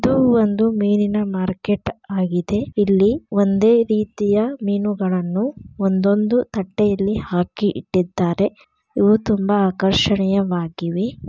ಇದು ಒಂದು ಮೇಲಿನ ಮಾರ್ಕೆಟ್ ಆಗಿದೆ ಇಲ್ಲಿ ಒಂದೇ ರೀತಿಯ ಮೀನುಗಳನ್ನು ಒಂದೊಂದು ತಟ್ಟೆಯಲ್ಲಿ ಹಾಕಿ ಇಟ್ಟಿದ್ದಾರೆ ಇವು ತುಂಬಾ ಆಕರ್ಷಣೀಯವಾಗಿವೆ.